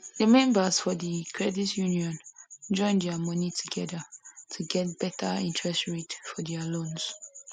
the members for the credit union join their money together to get better interest rate for their loans